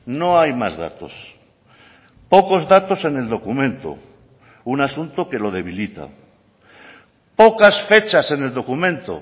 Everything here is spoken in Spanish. no hay más datos pocos datos en el documento un asunto que lo debilita pocas fechas en el documento